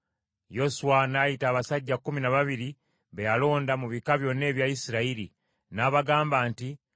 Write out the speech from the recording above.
Yoswa n’ayita abasajja kkumi na babiri be yalonda mu bika byonna ebya Isirayiri, n’abagamba nti,